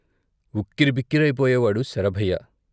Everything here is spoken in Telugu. ఉక్కిరిబిక్కిరై పోయేవాడు శరభయ్య.